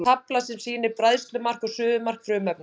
Tafla sem sýnir bræðslumark og suðumark frumefnanna.